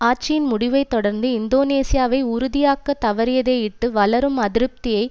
ஆட்சியின் முடிவைத் தொடர்ந்து இந்தோனேசியாவை உறுதியாக்கத் தவறியதையிட்டு வளரும் அதிருப்தியை